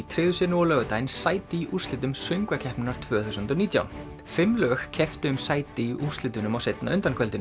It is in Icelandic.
tryggðu sér nú á laugardaginn sæti í úrslitum söngvakeppninnar tvö þúsund og nítján fimm lög kepptu um sæti í úrslitunum á seinna